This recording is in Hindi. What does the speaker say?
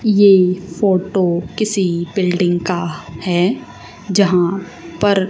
ये फोटो किसी बिल्डिंग का हैं जहां पर--